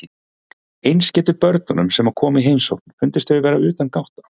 Eins getur börnunum sem koma í heimsókn fundist þau vera utangátta.